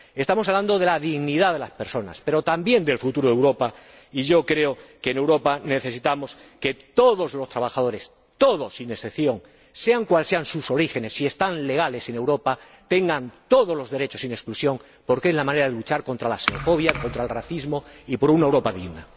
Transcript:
Estamos hablando de la dignidad de las personas, pero también del futuro de Europa, y yo creo que en Europa necesitamos que todos los trabajadores, todos sin excepción, sean cuales sean sus orígenes, si residen legalmente en Europa, tengan todos los derechos sin exclusión, porque es la manera de luchar contra la xenofobia, contra el racismo y por una Europa digna.